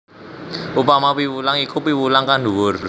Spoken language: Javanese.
Upama piwulang iku piwulang kang dhuwur